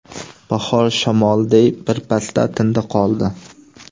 Bahor shamoliday bir pasda tindi-qoldi.